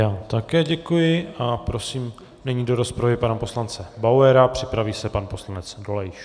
Já také děkuji a prosím nyní do rozpravy pana poslance Bauera, připraví se pan poslanec Dolejš.